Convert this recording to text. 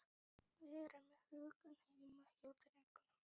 Vera með hugann heima hjá drengnum.